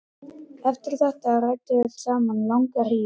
Eftir þetta ræddu þeir saman langa hríð.